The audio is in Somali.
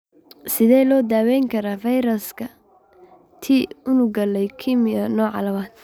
Sidee loo daweyn karaa fayraska T unugga leukemia, nooca labaad?